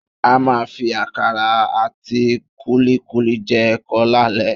A máa fi àkàrà àti kúlíkúlí jẹ ẹ̀kọ lálẹ́